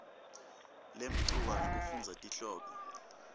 lemcoka ngekufundza tihloko